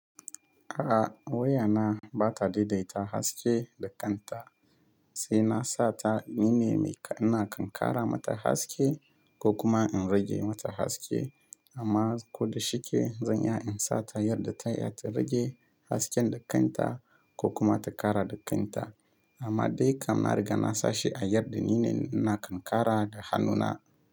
A'a wayana bata daidaita haske da kan ta sai na sata nine mai ina kan ƙara mata haske ko kuma in rage mata haske amma ko da shike zan iya in sata yadda ta yadda ta rage hasken da kanta ko kuma ta kara da kanta. Amma dai kam na riga na sashi a yadda nine ina kan kara da hannuna.